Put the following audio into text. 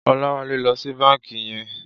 Olawale lò si bànkí yèn